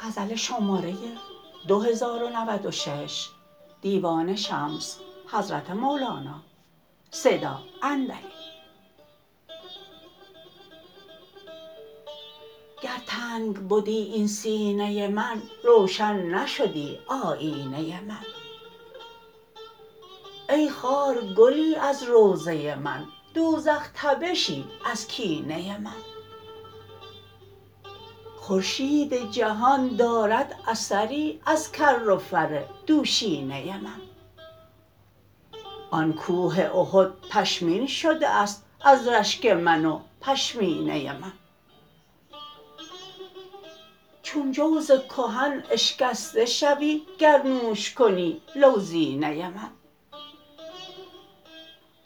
گر تنگ بدی این سینه من روشن نشدی آیینه من ای خار گلی از روضه من دوزخ تبشی از کینه من خورشید جهان دارد اثری از کر و فر دوشینه من آن کوه احد پشمین شده ست از رشک من و پشمینه من چون جوز کهن اشکسته شوی گر نوش کنی لوزینه من